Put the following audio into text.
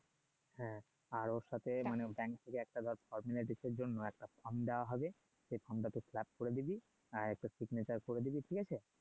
হ্যাঁ আর ওর সাথে মানে থেকে ডিস এর জন্য একটা দেওয়া হবে সেই টা তুই করে দিবি আর একটা করে দিবি ঠিক আছে?